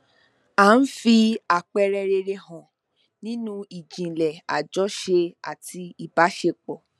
ó ń fi àpẹẹrẹ rere hàn nínú ijìnlẹ àjọṣe àti ìbáṣepọ